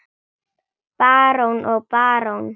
Barón og barón